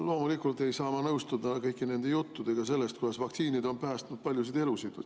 Loomulikult ei saa ma nõustuda kõigi nende juttudega sellest, kuidas vaktsiinid on päästnud paljusid elusid.